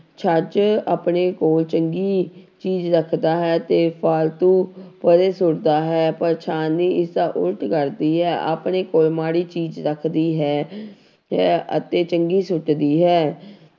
ਛੱਜ ਆਪਣੇ ਕੋਲ ਚੰਗੀ ਚੀਜ਼ ਰੱਖਦਾ ਹੈ ਤੇ ਫਾਲਤੂ ਪਰੇ ਸੁੱਟਦਾ ਹੈ, ਪਰ ਛਾਨਣੀ ਇਸਦਾ ਉੱਲਟ ਕਰਦੀ ਹੈ ਆਪਣੇ ਕੋਲ ਮਾੜੀ ਚੀਜ਼ ਰੱਖਦੀ ਹੈ ਹੈ ਅਤੇ ਚੰਗੀ ਸੁੱਟਦੀ ਹੈ।